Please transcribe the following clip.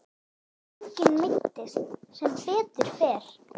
Enginn meiddist sem betur fer.